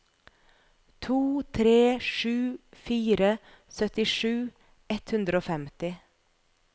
to tre sju fire syttisju ett hundre og femti